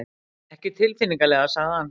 Ekki tilfinnanlega sagði hann.